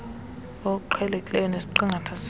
oqhelekileyo nesiqingatha sawo